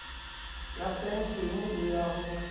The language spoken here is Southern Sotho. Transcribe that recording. ya penshene le ya ho